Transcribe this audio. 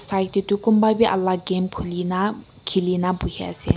side tey toh kunba bhi alak game khulina khilina buhi ase.